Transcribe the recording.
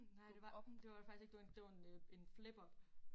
Nej det var det var det faktisk ikke. Det var en det var en øh en flip up